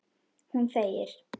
Hún þegir.